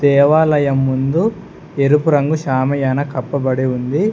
దేవాలయం ముందు ఎరుపు రంగు షామియానా కప్పబడి ఉంది.